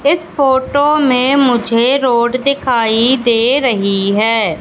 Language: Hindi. इस फोटो में मुझे रोड दिखाई दे रही है।